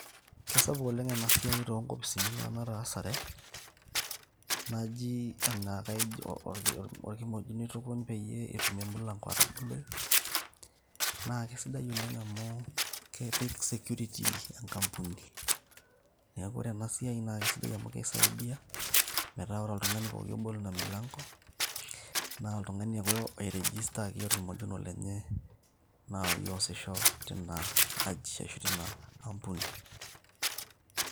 Kesapuk oleng' enasiai tonkopisini nanu nataasare, naji enakaijo orkimojino itukuny peyie etum emilanko ataboloyu. Na kesidai oleng' amu, kepik security enkampuni. Neeku ore enasiai na kesidai amu kisaidia, metaa ore oltung'ani pooki obol ina milanko, na oltung'ani ake oirejistaki orkimojino lenye nai oosisho tina aji ashu tina ampuni.